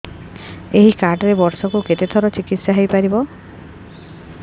ଏଇ କାର୍ଡ ରେ ବର୍ଷକୁ କେତେ ଥର ଚିକିତ୍ସା ହେଇପାରିବ